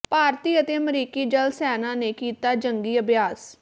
ਭਾਰਤੀ ਅਤੇ ਅਮਰੀਕੀ ਜਲ ਸੈਨਾ ਨੇ ਕੀਤਾ ਜੰਗੀ ਅਭਿਆਸ